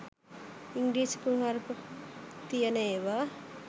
ඉංග්‍රීසි කුණුහරප තියන ඒවා